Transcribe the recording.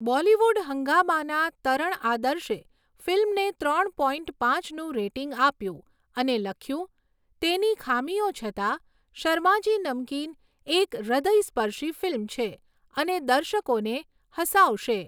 બોલિવૂડ હંગામાના તરણ આદર્શે ફિલ્મને ત્રણ પોઇન્ટ પાંચનું રેટિંગ આપ્યું અને લખ્યું, "તેની ખામીઓ છતાં, શર્માજી નમકીન એક હૃદયસ્પર્શી ફિલ્મ છે અને દર્શકોને હસાવશે."